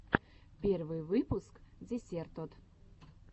первый выпуск десертод